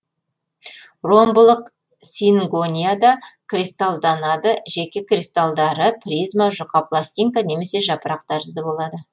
ромбылық сингонияда кристалданады жеке кристалдары призма жұқа пластинка немесе жапырақ тәрізді болады